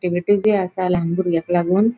आसा लान बुर्ग्याक लागून.